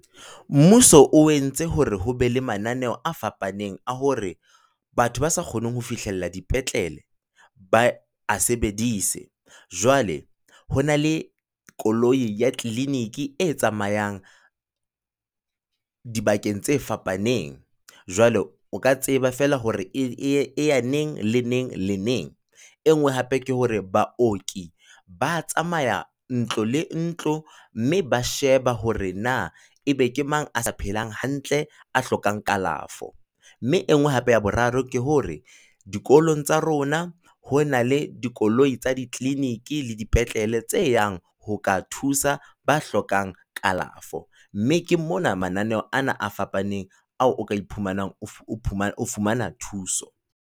Mmuso o entse hore ho be le mananeo a fapaneng a hore batho ba sa kgoneng ho fihlella dipetlele ba a sebedise. Jwale ho na le koloi ya clinic-e tsamayang dibakeng tse fapaneng, jwale o ka tseba feela hore e ya neng le neng le neng. Enngwe hape ke hore baoki ba tsamaya ntlo le ntlo, mme ba sheba hore na ebe ke mang a sa phelang hantle, a hlokang kalafo. Mme enngwe hape ya boraro ke hore, dikolong tsa rona ho na le dikoloi tsa di clinic-e le dipetlele tse yang ho ka thusa ba hlokang kalafo. Mme ke mona mananeo ana a fapaneng ao o ka iphumanang o fumana thuso.